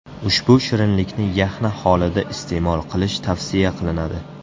Ushbu shirinlikni yaxna holida iste’mol qilish tavsiya qilinadi.